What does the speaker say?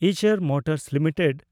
Eicher motors limited